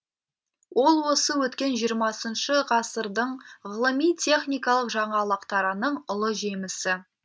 ол осы өткен жиырмасыншы ғасырдың ғылыми техникалық жаңалықтарының ұлы жемісі